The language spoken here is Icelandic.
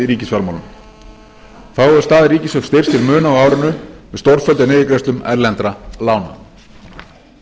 þá hefur staða ríkissjóðs styrkst til muna á árinu með stórfelldum niðurgreiðslum erlendra lána í